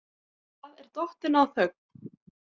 Það er dottin á þögn.